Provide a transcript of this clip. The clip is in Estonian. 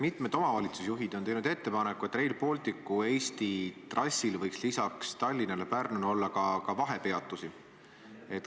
Mitmed omavalitsusjuhid on teinud ettepaneku, et Rail Balticu Eesti trassil võiks lisaks Tallinnale ja Pärnule olla ka vahepeatusi.